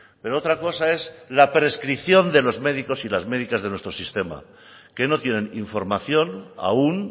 pero otra cosa es la prescripción de los médicos y las médicas de nuestro sistema que no tienen información aún